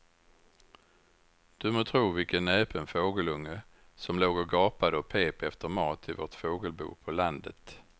Du må tro vilken näpen fågelunge som låg och gapade och pep efter mat i vårt fågelbo på landet.